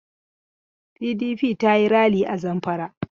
PDP za ta yi ralli a Zamfara.